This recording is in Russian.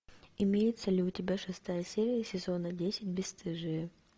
имеется ли у тебя шестая серия сезона десять бесстыжие